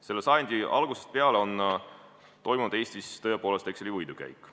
Selle sajandi algusest peale on Eestis toimunud Exceli võidukäik.